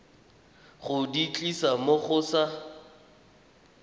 go di tlisa mo sa